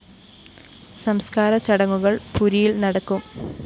സംസ്‌കാര ചടങ്ങുകള്‍ പുരിയില്‍ നടക്കും